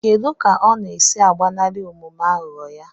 Kedu ka ọ na-esi agbanarị omume aghụghọ ya?